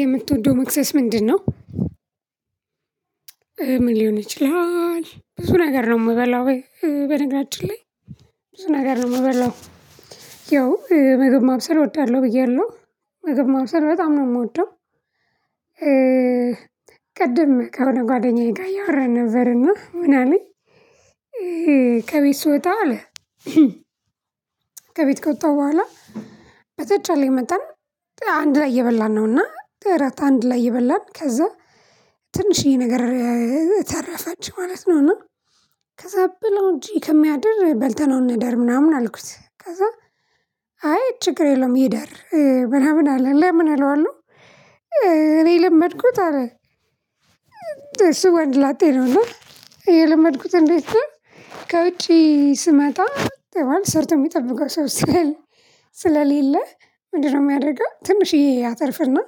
የምትወደው መክሰስ ምንድነው? ምን ሊሆን ይችላል? ብዙ ነገር ነው የምበላው በነገራችን ላይ ብዙ ነገር ነው የምበላው ያው ምግብ ማብሰር እወዳለሁ ብያለሁ። ምግብ ማብሰል በጣም ነው የምወደው። ቅድም ከሆነ ጓደኛዬ ጋር እያወራን ነበርና ምን አለኝ ከቤት ስወጣ አለ ከቤት ከወጣሁ በኋላ በተቻለኝ መጠን አንድ ላይ እየበላን ነውና እራት አንድ ላይ እየበላን ከዛ ትንሽዬ ነገር- ተረፈች ማለት ነውና እና ከዛ ብለው እንጂ ከሚያደር በልተነው እንደር ምናምን አልኩት ከዛ አይ ችግር የለውም ይደር ምናምን አለ ለምን እለዋለሁ እኔ የለመድኩት አለ- እሱ ወንድ ላጤ ነው ና የለመድኩት እንዴት ነው ከውጪ ስመጣ ማለት ሰርቶ የሚጠብቀው ሰው ስለሌለ- ስለሌለ ምንድነው የሚያደርገው ትንሽዬ ያተርፍና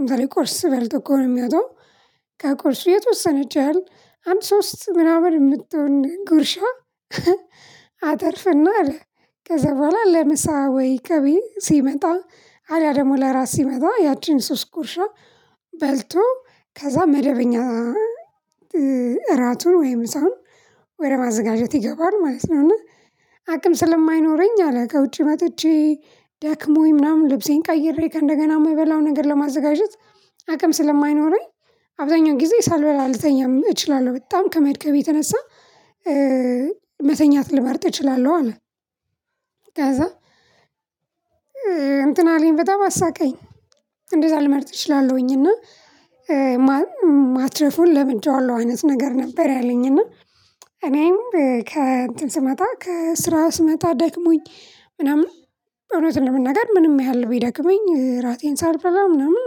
እንትን ቁርስ በልቶ እኮ ነው። የሚወጣው ከቁርሱ የተወሰነች ያህል አንድ ሶስት ምናምን የምትሆን ጉርሻ- አተርፍና አለ ከዛ በኋላ ለምሳ ወይ ከቤት ሲመጣ አለያ ደግሞ ለእራት ሲመጣ ያቺን ሶስት ጉርሻ በልቶ- ከዛ መደበኛ እራቱን ወይም ምሳውን ወደ ማዘጋጀት ይገባል ማለት ነው። እና አቅም ስለማይኖረኝ አለ ከውጪ መጥቼ- ደክሞኝ ምናምን ልብሴን ቀይሬ ከእንደገና የምበላው ነገር ለማዘጋጀት- አቅም ስለማይኖረኝ አብዛኛው ጊዜ ሳልበላ ልተኛም እችላለሁ። በጣም ከመድከሜ የተነሳ- መተኛት ልመርጥ እችላለሁ አለ። ከዛ እንትን አለኝ። በጣም አሳቀኝ። እንደዛ ልመርጥ እችላለሁኝ። እና- ማትረፉን ለምን ለምጀዋለሁ አይነት ነገር ነበር ያለኝ። እና እኔም ከእንትን ስመጣ ከስራ ስመጣ ደክሞኝ ምናምን እውነቱን ለመናገር ምንም ያህል ቢደክመኝ ራቴን ሳልበላ ምናምን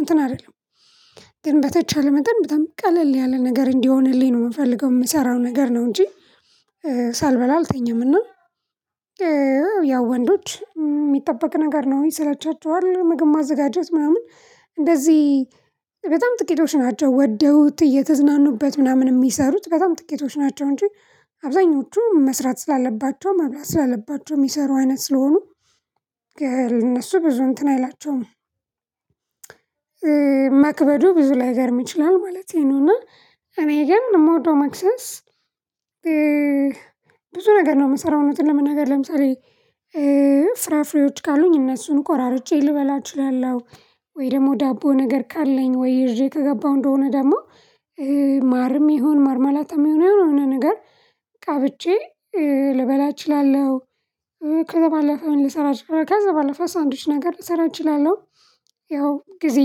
እንትን አልልም። ግን በተቻለ መጠን በጣም ቀለል ያለ ነገር እንዲሆንልኝ ነው የምፈልገው የምሰራው ነገር ነው እንጂ- ሳልበላ አልተኛም። እና- ያው ወንዶች የሚጠበቅ ነገር ነው። ይሰለቻቸዋል። ምግብ ማዘጋጀት ምናምን እንደዚህ- በጣም ጥቂቶች ናቸው ወደውት እየተዝናኑበት ምናምን የሚሰሩት በጣም ጥቂቶች ናቸው እንጂ አብዛኞቹ መስራት ስላለባቸው መብላት ስላለባቸው የሚሰሩ አይነት ስለሆኑ- እነሱ ብዙ እንትን አይላቸውም። መክበዱ ብዙ ላይገርም ይችላል ማለት ነው እና። እኔ ግን የምወደው መክሰስ ብዙ ነገር ነው የምሰራው እውነቱን ለመናገር። ለምሳሌ :-ፍራፍሬዎች ካሉኝ እነሱን ቆራርጬ ልበላ እችላለሁ። ወይ ደግሞ ዳቦ ነገር ካለኝ ወይ ይዤ ከገባሁ እንደሆነ ደግሞ- ማርም ይሁን ማርማላታም ይሁን የሆነ ነገር ቀብጬ- ልበላ እችላለሁ። ከዛ ባለፈ ምን ልሰራ አችላለሁ ከዛ ባለፈ ሳንዱች ነገር ልሰራ እችላለሁ። ያው ጊዜ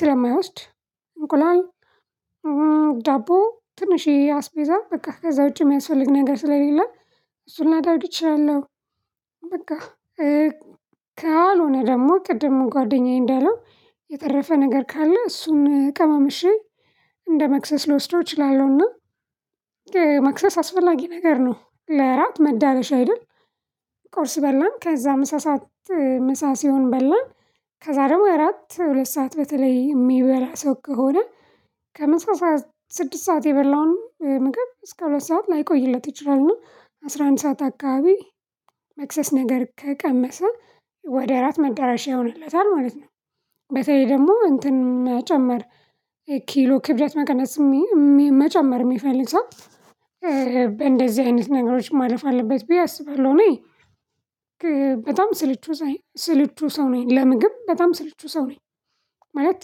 ስለማይወስድ እንቁላል- ዳቦ ትንሽዬ አስቤዛ በቃ ከዛ ውጪ የሚያስፈልግ ነገር ስለሌለ እሱን ላደርግ እችላለሁ። በቃ ካልሆነ ደግሞ ቅድም ጓደኛዬ እንዳለው የተረፈ ነገር ካለ እሱን ቀማምሼ እንደመክሰስ ልወስደው እችላለሁና። መክሰስ አስፈላጊ ነገር ነው። ለእራት መዳረሻ አይደል። ቁርስ በላን። ከዛ ምሳ ሰዓት ምሳ ሲሆን በላን። ከዛ ደግሞ እራት ሁለት ሰዓት በተለይ የሚበላ ሰው ከሆነ ከምሳ ሰዓት ስድስት ሰዓት የበላውን ምግብ እስከ ሁለት ሰዓት ላይቆይለት ይችላል። አስራ አንድ ሰዓት አካባቢ መክሰስ ነገር ከቀመሰ ወደ እራት መዳረሻ ይሆንለታል ማለት ነው። በተለይ ደግሞ እንትን ጨመር- ኪሎ ክብደት መቀነስ መጨመር የሚፈልግ ሰው- እንደዚህ አይነት ነገሮች ማለፍ አለበት ብዬ አስባለሁ። እኔ በጣም ስልቹ ስልቹ ሰው ነኝ ለምግብ በጣም ስልቹ ሰው ነኝ። ማለት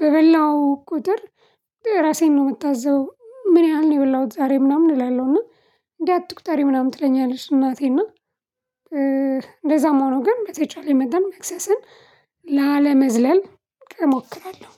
በበላው ቁጥር ራሴን ነው የምታዘበው። ምን ያህል ነው የበላሁት ዛሬ ምናምን እላለሁና። እና- እንዴ አትቁጠሪ ምናምን ትለኛለች እናቴ እና- እንደዛም ሆኖ ግን በተቻለኝ መጠን ላለመዝለል እሞክራለሁ።